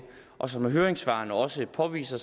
og som høringssvarene også påviser